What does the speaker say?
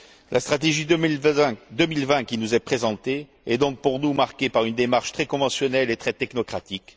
La stratégie 2020 qui nous est présentée est donc pour nous marquée par une démarche très conventionnelle et très technocratique